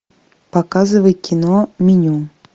показывай кино меню